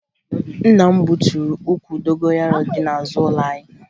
Nna m gbuturu ukwu dogoyaro dị n'azụ ụlọ anyị